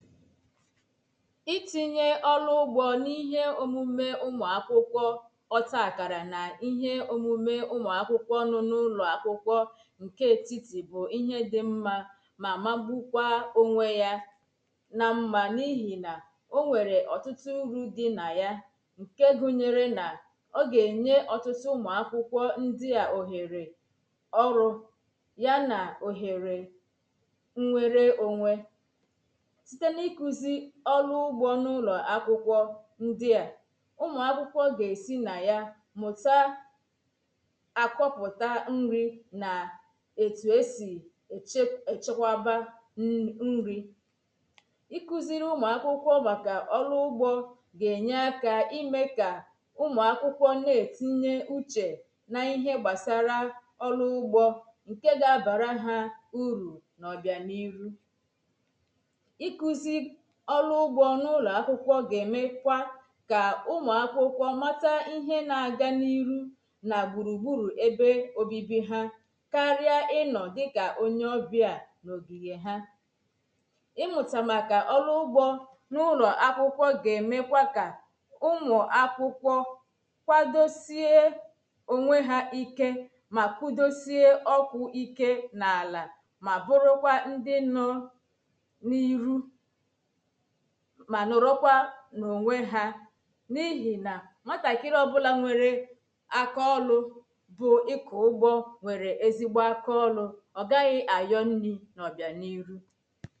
itịnyè ọ̀rụ̀ ugbò n’ihe omumè ụm̀ụ àkwụkwọ̀ ọ̀ta àkàra n’ ịhe òmumè ụ̀mụ̀ àkwụkwọ̀ nọ̣ọ̀ n’ụlọ àkwụkwọ̀ ògò etiti bụ̀ ịhe di mmà mà magbùkwà ònwe yà nà ṁma n’ihi nà ònwerè ọ̀tụtụ urù di nà yà ògò ògò ènyè ọ̀tụtụ ụ̀mụ̀ àkwụkwọ̀ ndi à òhèrè ọrụ̀ ya nà òhèrè ònwèrè ònwe na-ikùzi ọ̀rụ ugbȯ n’ụlọ̀ akwụkwọ ndi a ụmụ̀ akwụkwọ gȧ-esi nà ya mụ̀ta àkọ̀pụ̀ta nri nà ètù esì èchekwaba nri ị̀kụziri ụmụ̀ akwụkwọ màkà ọ̀rụ ugbȯ gà-enye aka ime kà ụmụ̀ akwụkwọ na-etinye uchè na ihe gbàsara ọ̀rụ ugbȯ ǹke ga-abàra ha urù nà ọ̀bịà n’irù ọrụ ụgbọ n'ụlọ̀ akwụkwọ gà-èmekwa kà ụmụ̀ akwụkwọ matà ihe n’agà n’iru nà gbùrù gbùrù ebe òbibi hà kària ịnọ̀ dịkà onye ọbịà n’ogighì ha ịmụtà màkà ọrụ ụgbọ n’ụlọ̀ akwụkwọ̇ gà-èmekwa kà ụmụ̀ akwụkwọ̇ kwadosie ònwe hà ike mà kwudosie ọkụ̇ ike n’alà mà bụrụkwà ndị nọ̇ n’iru nà ònwe hà n'ihi nà nwetàkịrị ọ̀bụlà nwere àkọ̀ọlụ̀ bụ̀ ịkụ̀ ụgbọ nwere ezigbo àkọ̀ọlụ̀ ọ̀gaghị̀ àyọ̀ nni nọọ̀ bịa n’iru